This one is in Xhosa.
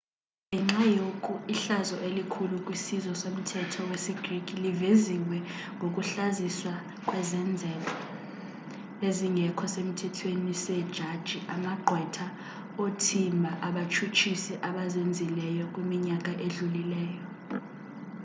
ngenxa yoku ihlazo elikhulu kwisizwe somthetho wesi greek liveziwe ngokuhlaziswa kwezenzo ezingekho semthethweni see jaji amagqwetha onothimba abatshutshisi abazenzileyo kwiminyaka edlulileyo